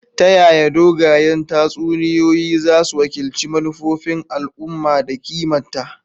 Ta yaya dogayen tatsuniyoyi zasu wakilci manufofin al'umma da kimarta?